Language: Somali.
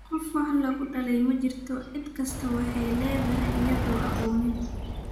Qof wax lakudaley majirto ,cid kistaa waxa ladaye iyadho caqonin.